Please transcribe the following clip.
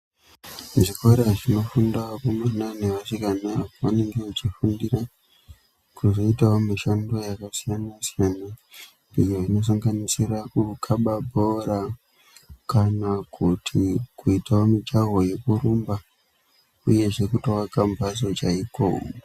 Muzvikora zvinofunda vakomana nevasikana vanenge vechifundira kuzoitawo mushando yakasiyana siyana iyo inosanganisira kukhaba bhora kana kuti kuita mijaho yekurumba uyezve kutoaka mbatso chaiko.